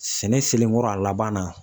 Sɛnɛ selen kɔrɔ a laban na.